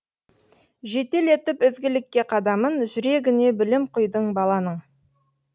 жетелетіп ізгілікке қадамын жүрегіне білім құйдың баланың